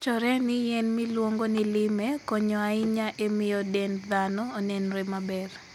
Wachore ni yien miluongo ni lime konyo ahinya e miyo dend dhano onenre maber.